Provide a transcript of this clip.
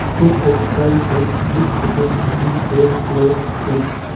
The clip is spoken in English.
stick of trained bricks which appears to be red clay bricks.